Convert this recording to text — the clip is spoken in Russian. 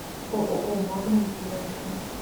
ооо магнум ближайший